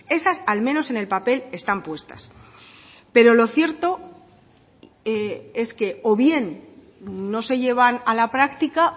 esas al menos en el papel están puestas pero lo cierto es que o bien no se llevan a la práctica